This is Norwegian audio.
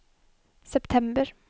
september